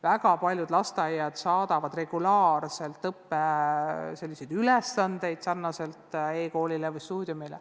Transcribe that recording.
Väga paljud lasteaiad saadavad regulaarselt laiali selliseid õppeülesandeid nagu e-koolis või e-stuudiumis.